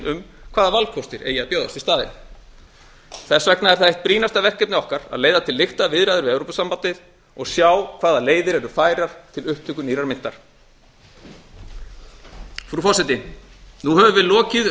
um hvaða valkostir eigi að bjóðast í staðinn þess vegna er það eitt brýnasta verkefni okkar a leiða til lykta viðræður við evrópusambandið og sjá hvaða leiðir eru færar til upptöku nýrrar myntar frú forseti nú höfum við lokið